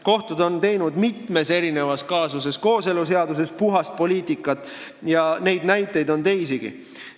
Kohtud on teinud mitmes kaasuses kooseluseadusega seotult puhast poliitikat ja neid näiteid on teisigi.